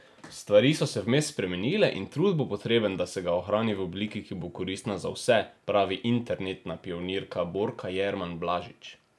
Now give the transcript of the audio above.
Stvari so se vmes spremenile in trud bo potreben, da se ga ohrani v obliki, ki bo koristna za vse, pravi internetna pionirka Borka Jerman Blažič.